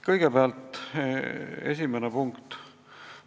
Kõigepealt, esimene punkt.